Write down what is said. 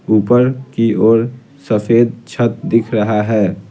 ऊपर की ओर सफेद छत दिख रहा है।